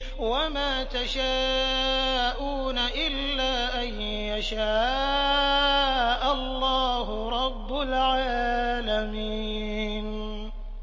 وَمَا تَشَاءُونَ إِلَّا أَن يَشَاءَ اللَّهُ رَبُّ الْعَالَمِينَ